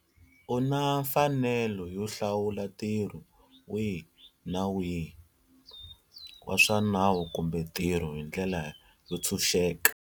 U na mfanelo yo hlawula ntirho wihi na wihi wa swa nawu kumbe ntirho hi ndlela yo ntshuxeka.